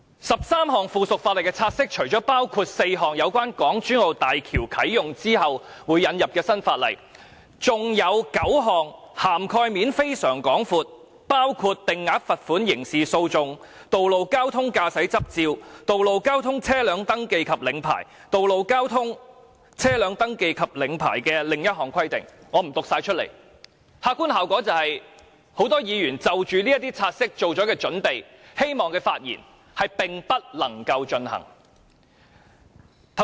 十三項附屬法例的察悉，除了包括4項有關港珠澳大橋啟用後會引入的新法例，還有9項涵蓋面非常廣闊，包括定額罰款、道路交通、道路交通、道路交通的另一項規定——我不全部讀出——客觀效果就是，很多議員已就這些察悉作準備，希望發言，但並不能夠進行。